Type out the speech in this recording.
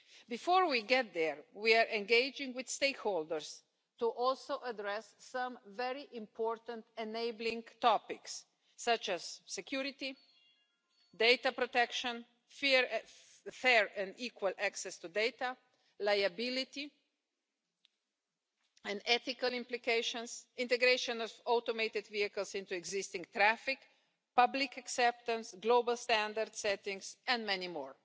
Before we get there, we are engaging with stakeholders to address some very important enabling topics such as security, data protection, fair and equal access to data, liability and ethical implications, integration of automated vehicles into existing traffic, public acceptance, global standard settings, and many more.